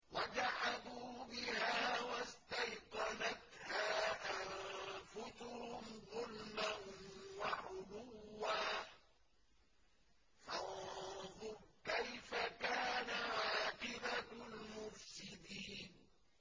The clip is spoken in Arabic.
وَجَحَدُوا بِهَا وَاسْتَيْقَنَتْهَا أَنفُسُهُمْ ظُلْمًا وَعُلُوًّا ۚ فَانظُرْ كَيْفَ كَانَ عَاقِبَةُ الْمُفْسِدِينَ